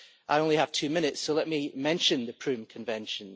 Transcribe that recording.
I only have two minutes, so let me mention the Prüm Convention.